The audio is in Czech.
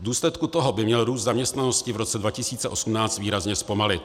V důsledku toho by měl růst zaměstnanosti v roce 2018 výrazně zpomalit.